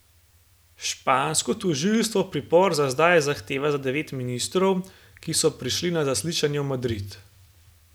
Špansko tožilstvo pripor za zdaj zahteva za devet ministrov, ki so prišli na zaslišanje v Madrid.